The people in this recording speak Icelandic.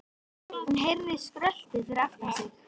Hún heyrði skröltið fyrir aftan sig.